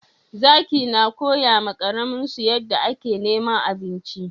Zaki na koya ma karamin su yanda a ke neman abinci